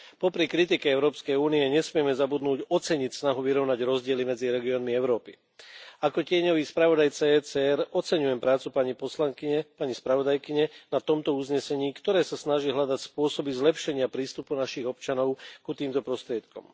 Popri kritike EÚ nesmieme zabudnúť oceniť snahu vyrovnať rozdiely medzi regiónmi Európy. Ako tieňový spravodajca ECR oceňujem prácu pani poslankyne, pani spravodajkyne na tomto uznesení, ktoré sa snaží hľadať spôsoby zlepšenia prístupu našich občanov k týmto prostriedkom.